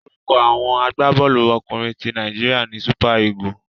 Orúkọ àwọn agbábọ́ọ̀lú ọkùnrin ti Nàíjíríà ni Super Eagles.